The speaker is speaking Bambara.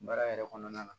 Baara yɛrɛ kɔnɔna na